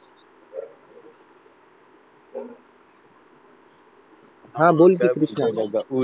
हा बोल कि क्रिष्णा